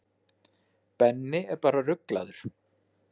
Benni er bara ruglaður.